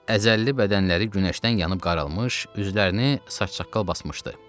Əzəlli bədənləri günəşdən yanıb qaralmış, üzlərini saç-saqqal basmışdı.